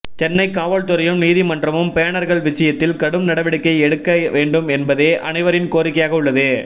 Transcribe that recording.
சென்னை காவல்துறையும் நீதிமன்றமும் பேனர்கள் விஷயத்தில் கடும் நடவடிக்கை எடுக்க வேண்டும் என்பதே அனைவரின் கோரிக்கையாக உள்ளது